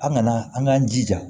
An kana an k'an jija